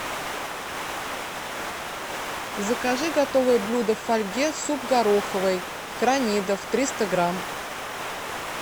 закажи готовое блюдо в фольге суп гороховый кронидов триста грамм